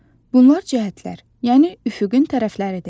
Bunlar cəhətlər, yəni üfüqün tərəfləridir.